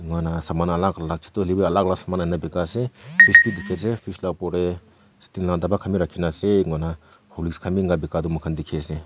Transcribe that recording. kuna saman alak alak chutu hoila bi alak alka saman aina bikai ase fridge bidikhi ase fridge la opor tae sting la dapa khan bi rakhina ase enkakurna horlicks khan bi enka bikai tu mokhan dikhiase--